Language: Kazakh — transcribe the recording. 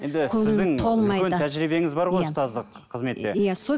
тәжірибеңіз бар ғой ұстаздық қызметте иә